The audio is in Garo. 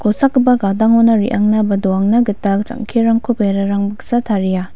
kosakgipa gadangona re·angna ba donangna gita jang·kerangko berarang baksa taria.